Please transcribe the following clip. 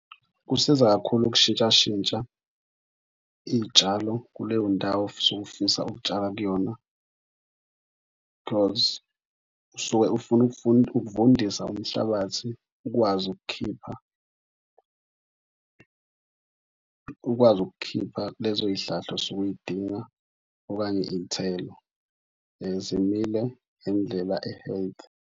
Kusiza kakhulu ukushintshashintsha iy'tshalo kuleyo ndawo osuke ufisa ukutshala kuyona because usuke ufuna ukuvundisa umhlabathi ukwazi ukukhipha, ukwazi ukukhipha kulezo y'hlahla osuke uy'dinga okanye iy'thelo. Zimile ngendlela e-healthy.